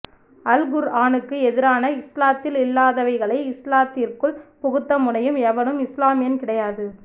அல் குர் ஆனுக்கு எதிரான இஸ்லாத்தில் இல்லாதவைகளை இஸ்லாத்திற்குள் புகுத்த முனையும் எவரும் இஸ்லாமியன் கிடையாது